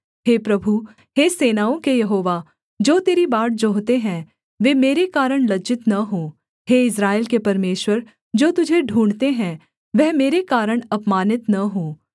हे प्रभु हे सेनाओं के यहोवा जो तेरी बाट जोहते हैं वे मेरे कारण लज्जित न हो हे इस्राएल के परमेश्वर जो तुझे ढूँढ़ते हैं वह मेरे कारण अपमानित न हो